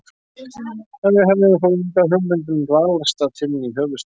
En við hefðum þó enga hugmynd um dvalarstað þinn í höfuðstaðnum.